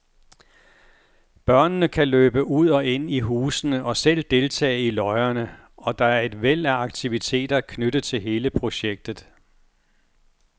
Børnene kan løbe ud og ind i husene og selv deltage i løjerne, og der er et væld af aktiviteter knyttet til hele projektet.